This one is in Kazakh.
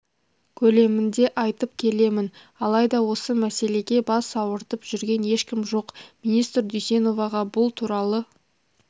көлемінде айтып келемін алайда осы мәселеге бас ауыртып жүрген ешкім жоқ министр дүйсеноваға бұл туралы